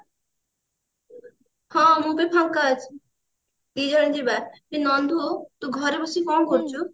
ହଁ ମୁଁ ଫାଙ୍କା ଅଛି ଦି ଜଣ ଯିବା ଏ ନନ୍ଦୁ ତୁ ଘରେ ବସି କଣ କରୁଛୁ